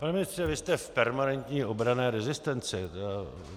Pane ministře, vy jste v permanentní obranné rezistenci.